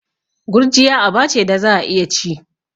Gurjiya aba ce da za'a iya ci.